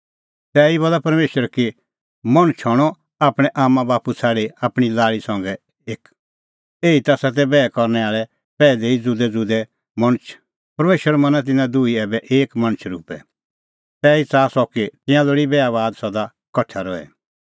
एते ई बज़्हा रहणअ मर्ध आपणैं आम्मांबाप्पू का ज़ुदअ आपणीं बेटल़ी संघै और तिंयां हणैं दुहै एक